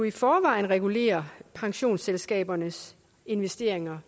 i forvejen regulerer pensionsselskabernes investeringer